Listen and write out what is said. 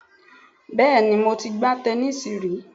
Bẹ́ẹ̀ni mo ti gbá tẹnísíì rí